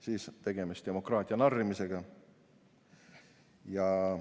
siis on tegemist demokraatia narrimisega.